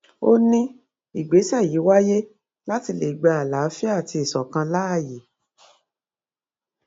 ó ní ìgbésẹ yìí wáyé láti lè gba àlàáfíà àti ìṣọkan láàyè